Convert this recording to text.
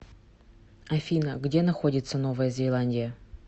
афина где находится новая зеландия